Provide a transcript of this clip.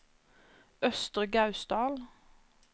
Østre Gausdal